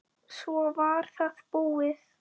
Svo var það búið.